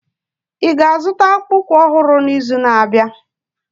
Ị ga-azụta akpụkpọ ụkwụ ọhụrụ n'izu na-abịa?